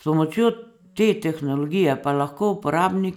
S pomočjo te tehnologije pa lahko uporabnik